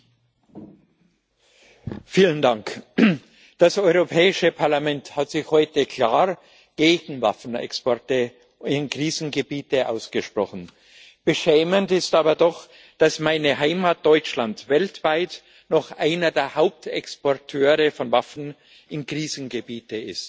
Herr Präsident! Das Europäische Parlament hat sich heute klar gegen Waffenexporte in Krisengebiete ausgesprochen. Beschämend ist aber doch, dass meine Heimat Deutschland weltweit noch einer der Hauptexporteure von Waffen in Krisengebiete ist.